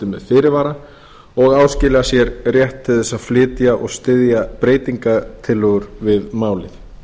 með fyrirvara og áskilja sér rétt til að flytja og styðja breytingartillögur við málið